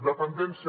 dependència